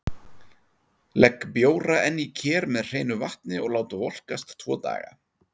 Legg bjóra enn í ker með hreinu vatni og lát volkast tvo daga.